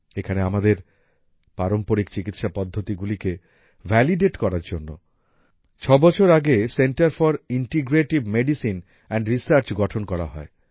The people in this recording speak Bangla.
এখানে আমাদের পারম্পরিক চিকিৎসা পদ্ধতিগুলিকে ভ্যালিডেট করার জন্য ছয় বছর আগে centre for integrative medicine and research গঠন করা হয়